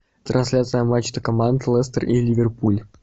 трансляция матча команд лестер и ливерпуль